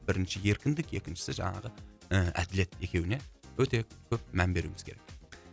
бірінші еркіндік екіншісі жаңағы і әділет екеуіне өте көп мән беруіміз керек